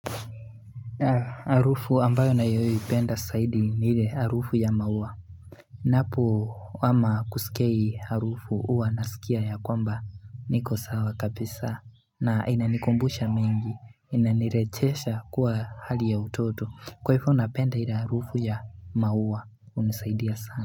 Harufu ambayo na yoi upenda saidi nile arufu ya maua Napo kwamba kusikia harufu uwa nasikia ya kwamba niko sawa kabisa na inanikumbusha mengi inanirechesha kuwa hali ya utoto kwaifu unapenda ili arufu ya maua unisaidia sana.